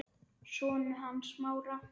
Sonur hans Smára.